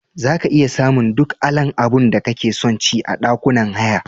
Zaka iya samun duk alan abunda kake sonci a ɗakunan haya.